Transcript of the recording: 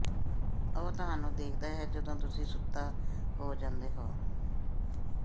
ਉਹ ਤੁਹਾਨੂੰ ਦੇਖਦਾ ਹੈ ਜਦੋਂ ਤੁਸੀਂ ਸੁੱਤਾ ਹੋ ਜਾਂਦੇ ਹੋ